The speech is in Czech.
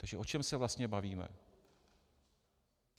Takže o čem se vlastně bavíme?